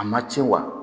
A ma ci wa